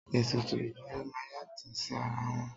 Ètùtù ìdílé máa ń yàtọ̀ sí ara wọn.